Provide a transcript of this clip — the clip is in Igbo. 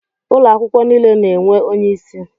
Ụlọ akwụkwọ niile na-enwe onyeisi.